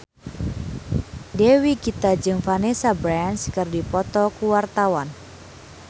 Dewi Gita jeung Vanessa Branch keur dipoto ku wartawan